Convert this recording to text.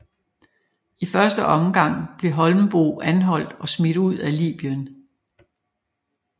I første omgang blev Holmboe anholdt og smidt ud af Libyen